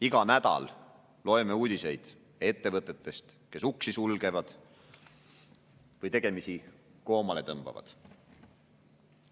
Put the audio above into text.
Iga nädal loeme uudiseid ettevõtete kohta, kes uksi sulgevad või tegemisi koomale tõmbavad.